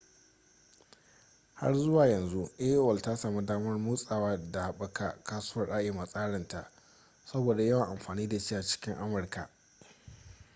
har zuwa yanzu aol ta sami damar motsawa da haɓaka kasuwar im a tsarin ta saboda yawan amfani da shi a cikin amurka